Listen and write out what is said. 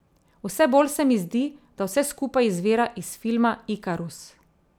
Vse bolj se mi zdi, da vse skupaj izvira iz filma Ikarus.